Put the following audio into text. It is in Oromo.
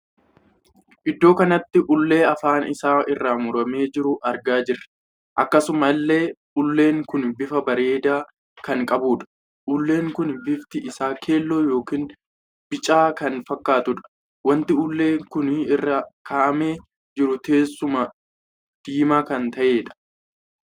Iddoo kanatti ullee afaan isaa irraa muramee jiru argaa jirra. akkasuma illee ullee kun bifa bareedaa kan qabudha. ulleen kun bifti isaa keelloo ykn bicaa kan fakkaatudha. wanti ullee kun irra kaa'amee jiru teessuma diimaa kan taheedha.